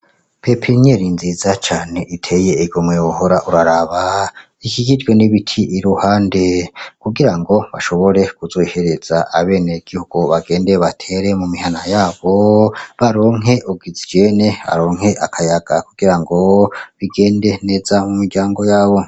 Pipiniyeri nziza cane iteye igomwe wohora uraraba ikikijwe n'ibiti iruhande kugirango bashobore kuzoyihereza abene gihugu ngo bagende batere mu mihana yabo baronke ogisijene baronke akayaga kugira ngo bigende neza mu miryango yabo.